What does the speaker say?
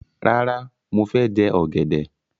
Rárá, mo fẹ jẹ ọ̀gẹ̀dẹ̀.